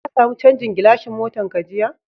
Ka samu chanzan gilashin motan ka jiya?